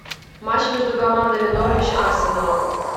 матч между командами норвич арсенал